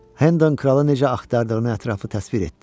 Hendon kralı necə axtardığını ətraflı təsvir etdi.